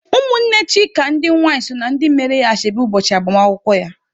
Ụmụnne Chika ndị nwai so na ndị mere ya ashebi ụbọchị agbamakwụkwọ ya..